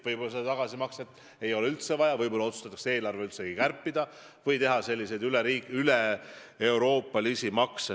Võib-olla seda tagasimakset ei ole üldse vaja, võib-olla otsustatakse eelarvet kärpida või kehtestada üleeuroopalisi makse.